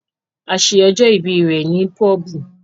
A ṣe ọjọ ìbí rẹ ní pobu